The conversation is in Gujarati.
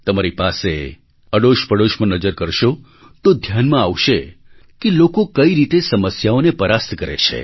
તમારી પાસે અડોશપડોશમાં નજર કરશો તો ધ્યાનમાં આવશે કે લોકો કઈ રીતે સમસ્યાઓને પરાસ્ત કરે છે